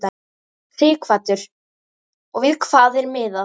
Sighvatur: Og við hvað er miðað?